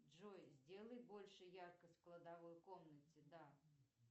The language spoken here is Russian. джой сделай больше яркость в кладовой комнате да